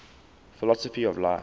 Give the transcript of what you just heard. philosophy of life